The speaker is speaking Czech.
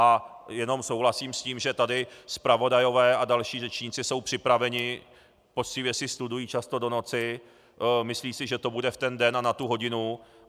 A jenom souhlasím s tím, že tady zpravodajové a další řečníci jsou připraveni, poctivě si studují často do noci, myslí si, že to bude v ten den a na tu hodinu.